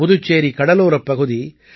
புதுச்சேரி கடலோரப் பகுதி